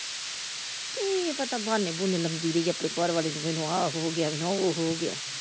ਕਿ ਪਤਾ ਬਹਾਨੇ ਬਹੁਨੇ ਲਾਉਂਦੀ ਰਹੀ ਆਪਣੇ ਘਰਵਾਲੇ ਨੂੰ ਮੈਨੂੰ ਆ ਹੋਗਿਆ ਮੈਨੂੰ ਉਹ ਹੋਗਿਆ ।